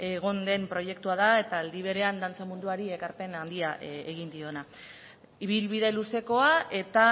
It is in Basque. egon den proiektua da eta aldi berean dantza munduari ekarpen handia egin diona ibilbide luzekoa eta